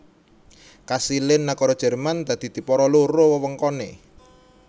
Kasilé nagara Jerman dadi dipara loro wewengkoné